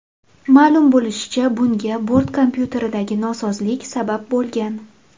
Ma’lum bo‘lishicha, bunga bort kompyuteridagi nosozlik sabab bo‘lgan.